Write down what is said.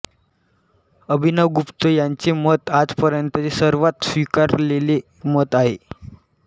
अभिनवगुप्त यांचे मत आजपर्यंतचे सर्वात स्वीकारलेले मत आहे